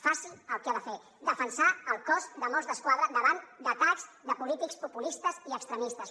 faci el que ha de fer defensar el cos de mossos d’esquadra davant d’atacs de polítics populistes i extremistes